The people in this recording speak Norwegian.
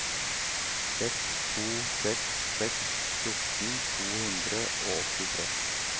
seks to seks seks fjorten to hundre og åttitre